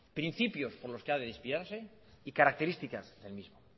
principios por los que ha de inspirarse y características del mismo